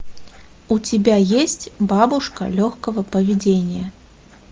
у тебя есть бабушка легкого поведения